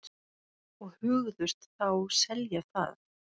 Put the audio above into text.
Og hugðust þá selja það.